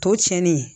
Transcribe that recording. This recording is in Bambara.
Tɔ cɛnnen